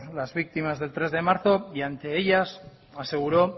las víctimas del tres de marzo y ante ellas aseguró